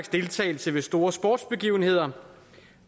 deltagelse ved store sportsbegivenheder